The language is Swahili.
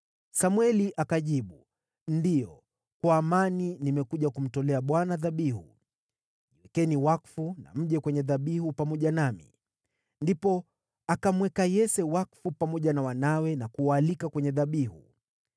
Samweli akajibu, “Ndiyo, kwa amani; nimekuja kumtolea Bwana dhabihu. Jiwekeni wakfu na mje kwenye dhabihu pamoja nami.” Ndipo akamweka Yese wakfu pamoja na wanawe na kuwaalika kwenye dhabihu.